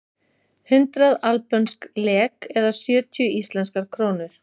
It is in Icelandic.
Hundrað albönsk lek eða sjötíu íslenskar krónur.